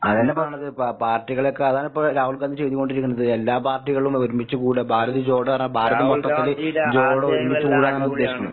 അതെന്നെ പറയണത് പ പാർട്ടികളെയൊക്കെ അതാണിപ്പോ രാഹുൽ ഗാന്ധി ചെയ്തു കൊണ്ടിരിക്കണത്. എല്ലാ പാർട്ടികളും കൂടെ ഒരുമിച്ച് കൂട്ക. ഭാരത് പറഞ്ഞാ ഭാരതം മൊത്തത്തില് ഒരുമിച്ച് കൂടാനാണ് ഉദ്ദേശിക്കുന്നത്.